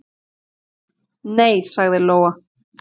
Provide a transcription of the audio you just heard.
"""Nei, sagði Lóa."""